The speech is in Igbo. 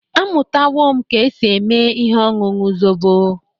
Amụtawo m ka esi eme ihe ọñụñu zobo.